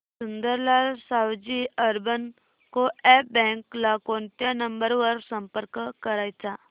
Sundarlal Sawji urban co-op bank ला कोणत्या number वर संपर्क करायचा